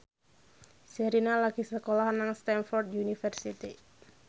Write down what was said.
Sherina lagi sekolah nang Stamford University